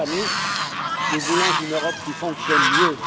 Chers amis, nous voulons une Europe qui fonctionne mieux.